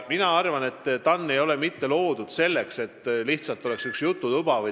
Mina arvan, et TAN ei ole loodud mitte selleks, et oleks lihtsalt üks jututuba.